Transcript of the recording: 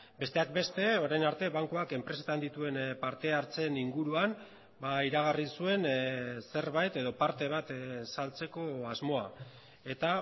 besteak beste orain arte bankuak enpresetan dituen parte hartzeen inguruan iragarri zuen zerbait edo parte bat saltzeko asmoa eta